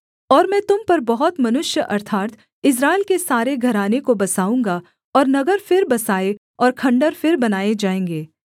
और मैं तुम पर बहुत मनुष्य अर्थात् इस्राएल के सारे घराने को बसाऊँगा और नगर फिर बसाए और खण्डहर फिर बनाएँ जाएँगे